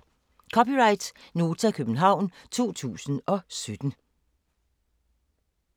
(c) Nota, København 2017